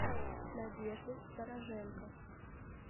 надеждой стороженко